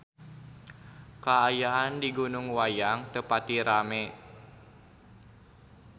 Kaayaan di Gunung Wayang teu pati rame